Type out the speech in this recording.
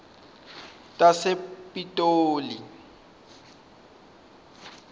tasepitoli